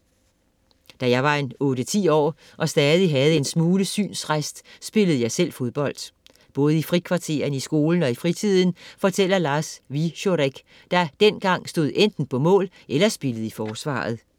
- Da jeg var en otte-ti år og stadig havde en smule synsrest, spillede jeg selv fodbold. Både i frikvartererne i skolen og i fritiden, fortæller Lars Wieczorek, der dengang stod enten på mål eller spillede i forsvaret.